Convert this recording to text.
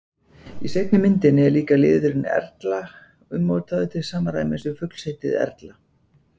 Í seinni myndinni er liðurinn-erla ummótaður til samræmis við fuglsheitið erla.